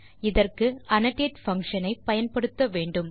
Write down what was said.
இதற்கு annotate function ஐ பயன்படுத்த வேண்டும்